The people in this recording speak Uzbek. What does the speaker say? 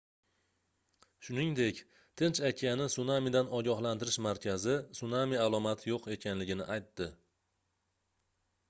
shuningdek tinch okeani sunamidan ogohlantirish markazi sunami alomati yoʻq ekanligini aytdi